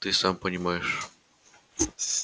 ты сам понимаешь